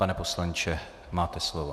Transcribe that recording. Pane poslanče, máte slovo.